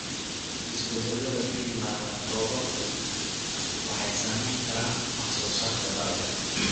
Isbeddellada ku yimaadda roobabku waxay saamayn karaan wax-soo-saarka dalagga.